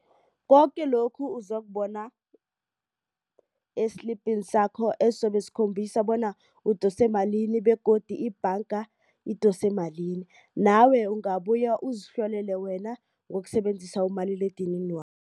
Koke lokhu uzokubona esilibhini sakho esobe sikhombisa bona udose malini begodu ibhanga idose malini nawe ungabuya uzihlolele wena ngokusebenzisa umaliledinini